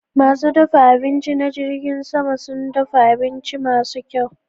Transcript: Masu dafa abinci na jirgin sama sun dafa abinci masu kyau.